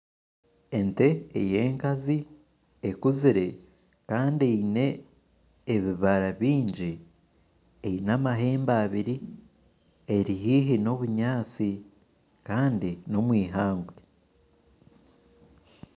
Ente eyenkazi ekuzire Kandi eyine ebibara bingi eine amahembe abiri eri haihi n'obunyansi kandi n'omwihangwe.